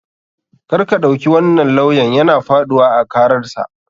KArka ɗauki wannan lawyan yana faɗuwa a kararsa.